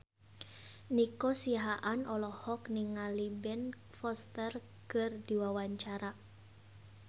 Nico Siahaan olohok ningali Ben Foster keur diwawancara